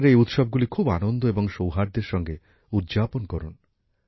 আপনারা এই উৎসবগুলি খুব আনন্দ ও সৌহার্দ্যের সঙ্গে উদযাপন করুন